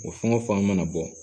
O fɛn o fɛn mana bɔ